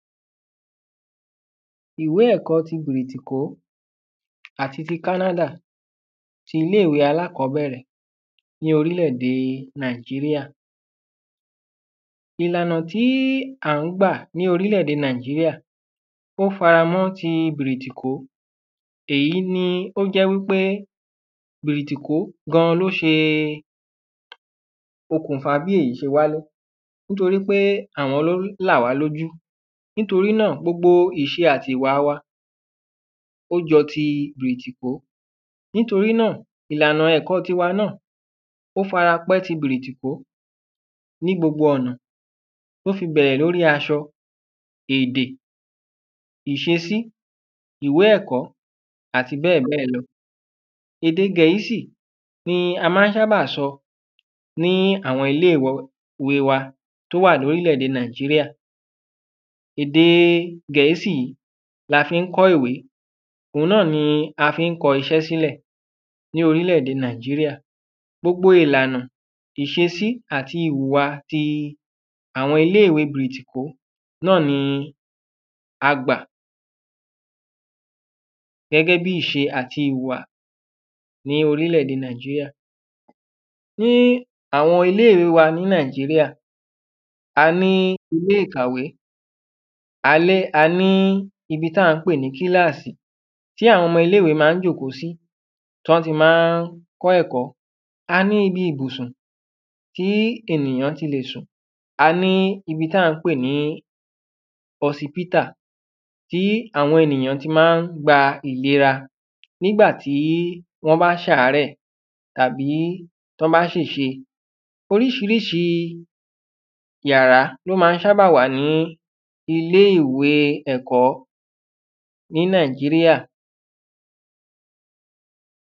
Ìwé ẹ̀kọ́ ti brìtìkó àti ti kánádà. Ilé ìwé alákọ́bẹ̀rẹ̀ ní orílè èdè nàíjíríà. Ìlànà tí à ń gbà ní orílè èdè nàíjíríà ó faramọ́ ti brìtìkó èyí ni ó jẹ́ wípé brìtìkó gan ló ṣe okùnfa bí èyí ṣe wáyé torípé àwọn ló là wá lójú nítorínà gbogbo ìṣe àti ìwà wa ó jọ ti brìtìkó nítorínà ìlànà ẹ̀kọ́ tiwa náà ó farapẹ́ ti britikó ní gbogbo ọ̀nà tí ó fi bẹ̀rẹ̀ lórí aṣọ èdè ìṣesí ìwé ẹ̀kọ́ àti bẹ́ẹ̀ bẹ́ẹ̀ lọ. ède gẹ̀ẹ́sì ni a má ń ṣábà sọ ní àwọn ilé ìwé wa tó wà lórílẹ̀ ède nàíjíríà ède gẹ̀ẹ́sì la fi ń kọ́ ìwé òun náà ni a fi ń kọ iṣẹ́ sílẹ̀ ní órílẹ̀ ède nàíjíríà. Gbogbo ìlànà ìṣesí àti ìhùwà ti àwọn ilé ìwé ti brìtìkó ni a gbà gẹ́gẹ́ bí ìṣe àti ìhùwà ní orílẹ̀ èdè nàíjíríà. Ní àwọn ilé ìwé wa ní nàíjíríà a ní ilé ìkàwé a ní a ní ibi tá ń pè ní kílàsì tí àwọn ọmọ ilé ìwé má ń jókòó sí tán ti má ń kọ́ ẹ̀kọ́. A ní ibi ìbùsùn tí ènìyàn ti le sùn A ní ibi tá ń pè ní họsibítà tí àwọn ènìyàn tí má ń gba ìlera nígbàtí wọ́n bá ṣàárẹ̀ tàbí wọ́n bá ṣèṣe. Oríṣiríṣi yàrá ni ó má ń ṣábà wà ní ilé ìwé ẹ̀kọ́ ní nàíjíríà.